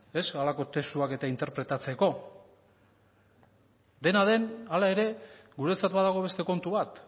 halako testuak eta interpretatzeko dena den hala ere guretzat badago beste kontu bat